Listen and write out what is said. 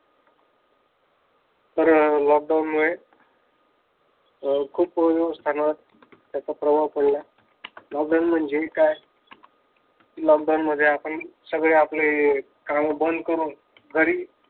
तर लॉकडाऊनमुळे अह खूप व्यवस्थानात त्याचा प्रवाह पडला. लॉकडाऊन म्हणजे काय लॉकडाऊनमध्ये आपण सगळे काम बंद करून घरी